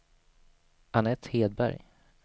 Anette Hedberg